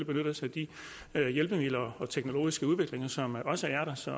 benytte os af de hjælpemidler og teknologiske udviklinger som også er der så